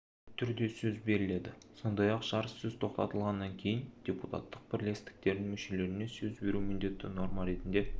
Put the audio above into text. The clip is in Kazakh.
түрде сөз беріледі сондай-ақ жарыссөз тоқтатылғаннан кейін депутаттық бірлестіктердің мүшелеріне сөз беру міндетті норма ретінде